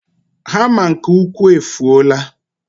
hama nke ukwu efuola.